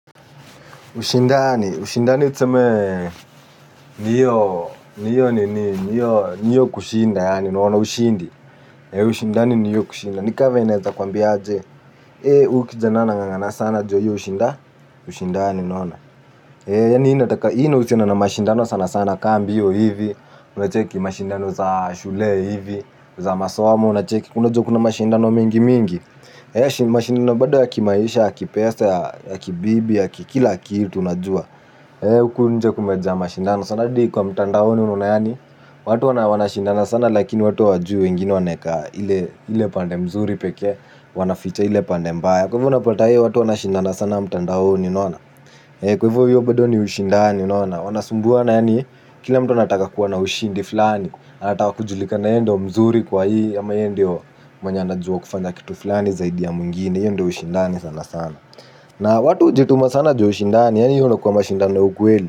Ushindani, ushindani tuseme niyo, niyo, niyo, niyo, niyo kushinda, yaani, unaona ushindi. Ushindani ni hiyo kushinda. Ni kavenye naeza kwambia aje. E, huyu kijana anangangana sana ju yeye hushinda. Ushindani, unaona. E, yaani, inataka, hii inakusiana na mashindano sana sana ka mbio hivi. Unacheki mashindano za shule hivi za masomo, unacheki. Unajua kuna mashindano mingi mingi. Eeh mashindano bado ya kimaisha ya kipesa ya kibibi ya kikila kitu. Huku nje kumejaa mashindano hadi kwa mtandaoni unaona yani watu wanashindana sana lakini watu hawajui wengine wameweka ile pande mzuri pekee wanaficha ile pande mbaya kwa hivo unapata watu wanashindana sana mtandaoni. Kwa hivyo hiyo bado ni ushindani unaona. Wanasumbua yaani kila mtu anataka kuwa na ushindi fulani. Anataka kujulika na ye ndo mzuri kwa hii ama ye ndo mwenye anajua kufanya kitu fulani zaidi ya mwingini hiyo ndo ushindani sana sana. Na watu hujituma sana ju ya ushindani hiyo ndo inakuwa mashindano ya ukweli.